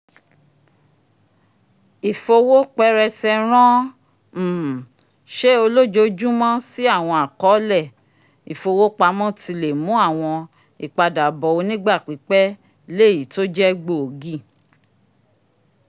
ifowo pẹrẹsẹ ran um ṣe olojoojumọ si awọn akọọlẹ ifowopamọ tí lè mú awọn ipadabọ onigba pipẹ l'eyi to jẹ gbóògì